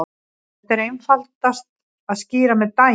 Þetta er einfaldast að skýra með dæmi.